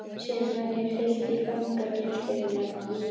Síðan var mér fylgt í fangageymslurnar í